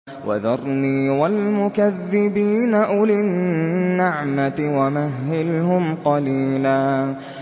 وَذَرْنِي وَالْمُكَذِّبِينَ أُولِي النَّعْمَةِ وَمَهِّلْهُمْ قَلِيلًا